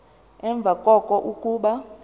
emva koko kuba